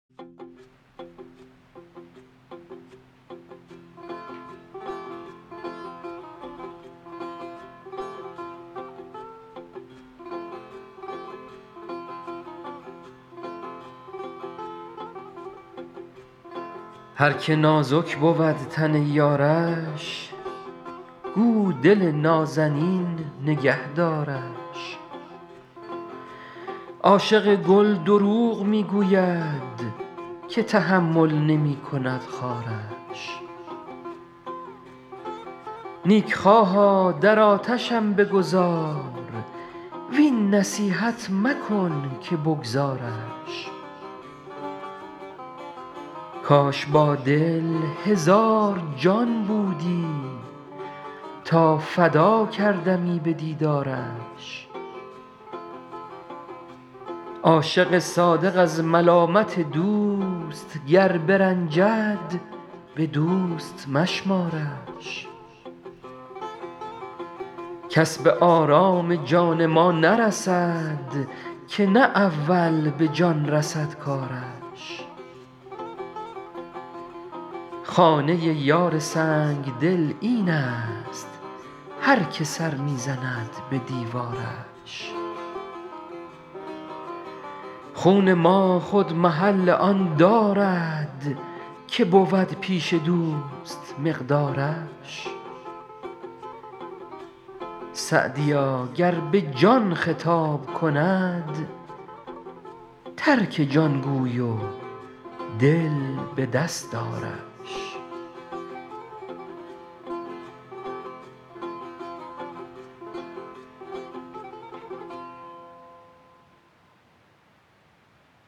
هر که نازک بود تن یارش گو دل نازنین نگه دارش عاشق گل دروغ می گوید که تحمل نمی کند خارش نیکخواها در آتشم بگذار وین نصیحت مکن که بگذارش کاش با دل هزار جان بودی تا فدا کردمی به دیدارش عاشق صادق از ملامت دوست گر برنجد به دوست مشمارش کس به آرام جان ما نرسد که نه اول به جان رسد کارش خانه یار سنگدل این است هر که سر می زند به دیوارش خون ما خود محل آن دارد که بود پیش دوست مقدارش سعدیا گر به جان خطاب کند ترک جان گوی و دل به دست آرش